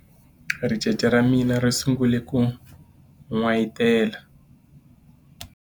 ricece ra mina ri sungule ku n'wayitela